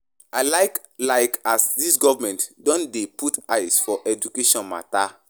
I like like as dis government don dey put eye for education mata.